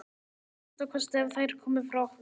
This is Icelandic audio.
Að minnsta kosti ef þær komu frá okkur.